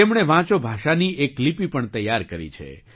તેમણે વાંચો ભાષાની એક લિપિ પણ તૈયાર કરી છે